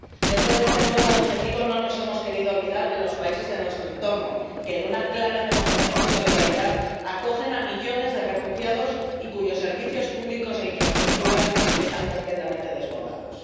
Dentro de este nuevo objetivo no nos hemos querido olvidar de los países de nuestro entorno que, en una clara demostración de solidaridad, acogen a millones de refugiados y cuyos servicios públicos e infraestructuras están completamente desbordados.